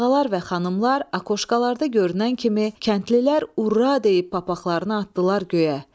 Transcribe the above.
Ağalar və xanımlar akokşkalarda görünən kimi kəndlilər urra deyib papaqlarını atdılar göyə.